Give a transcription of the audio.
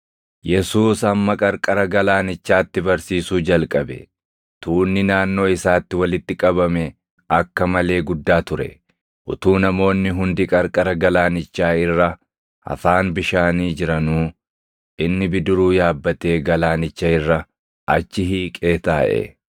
Yesuus ammas qarqara galaanichaatti barsiisuu jalqabe. Tuunni naannoo isaatti walitti qabame akka malee guddaa ture; utuu namoonni hundi qarqara galaanichaa irra afaan bishaanii jiranuu, inni bidiruu yaabbatee galaanicha irra achi hiiqee taaʼe.